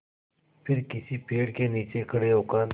फिर किसी पेड़ के नीचे खड़े होकर